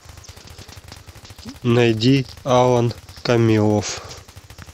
найди алан камилов